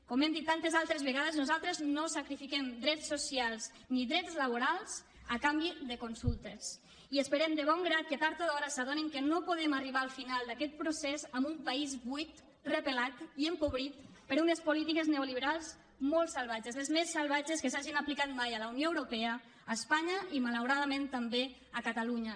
com hem dit tantes altres vegades nosaltres no sacrifiquem drets socials ni drets laborals a canvi de consultes i esperem de bon grat que tard o d’hora s’adonin que no podem arribar al final d’aquest procés amb un país buit repelat i empobrit per unes polítiques neoliberals molt salvatges les més salvatges que s’hagin aplicat mai a la unió europea a espanya i malauradament també a catalunya